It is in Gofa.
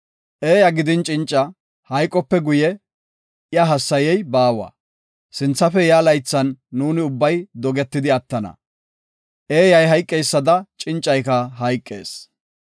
Eeya gidin cinca, hayqope guye, iya hassayey baawa; sinthafe yaa laythan nuuni ubbay dogetidi attana. Eeyay hayqeysada, cincayka hayqees.